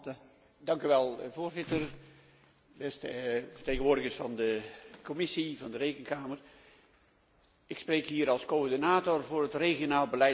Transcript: Voorzitter, beste vertegenwoordigers van de Commissie, van de Rekenkamer, ik spreek hier als coördinator voor het regionaal beleid van de PPE.